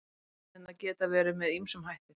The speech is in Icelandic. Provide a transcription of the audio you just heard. Ofskynjanir geta verið með ýmsum hætti.